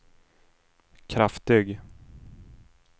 kraftig